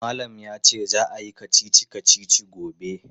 Malam ya ce za a yi kacici-kacici gobe.